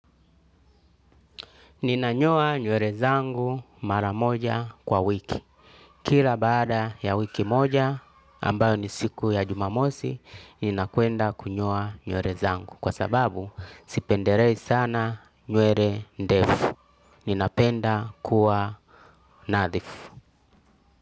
Ninanyoa nywere zangu mara moja kwa wiki. Kila baada ya wiki moja ambayo ni siku ya jumamosi, ninakuenda kunyoa nywere zangu. Kwa sababu sipendelei sana nywere ndefu. Ninapenda kuwa nadhifu.